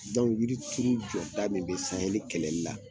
yiri turu jɔda min bɛ sahɛli kɛlɛli la